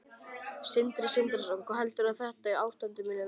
Sindri Sindrason: Hvað heldurðu að þetta ástand muni vara lengi?